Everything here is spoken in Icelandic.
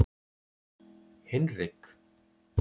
Hinrik